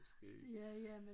Skægt